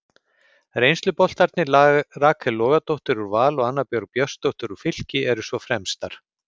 Reynsluboltarnir Rakel Logadóttir úr Val og Anna Björg Björnsdóttir úr Fylki eru svo fremstar.